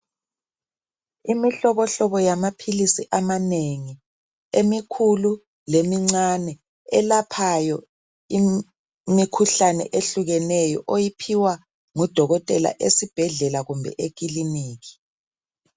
Imihlobohobo yamaphilisi amanengi, emikhulu lemincane elaphayo imikhuhlane ehlukeneyo, oyiphiwa ngudokotela esibhedlela kumbe ekiliniki.